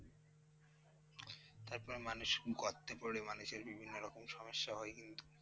তারপরে মানুষ গর্তে পড়ে মানুষের বিভিন্ন রকম সমস্যা হয় কিন্তু।